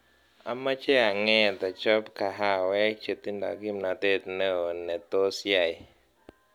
Amache anget achobo kahawek chetinye kimnatet neo ne tos yai